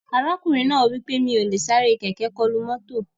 Ọkùnrin náà wí pé "Mi ò lè sáré kẹ̀kẹ́ kọlu mọ́tò"